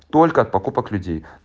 только от покупок людей